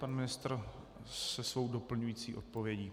Pan ministr se svou doplňující odpovědí.